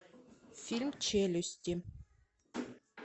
фильм челюсти